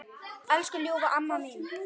Elsku ljúfa amma mín.